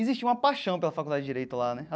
Existe uma paixão pela Faculdade de Direito lá né.